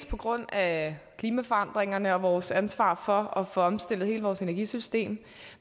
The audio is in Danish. på grund af klimaforandringerne og vores ansvar for at få omstillet hele vores energisystem